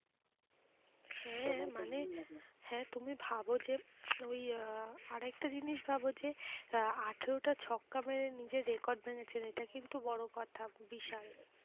হ্যাঁ মানে হ্যাঁ তুমি ভাব যে ওই আহ আর একটা জিনিস ভাব যে আহ আঠারোটা ছক্কা মেরে নিজের record ভেঙেছেন এটা কিন্তু বড়ো কথা বিশাল